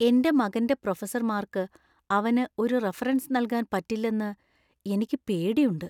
എന്റെ മകന്‍റെ പ്രൊഫസർമാർക്ക് അവന് ഒരു റഫറൻസ് നൽകാൻ പറ്റില്ലെന്ന് എനിക്ക് പേടിയുണ്ട്.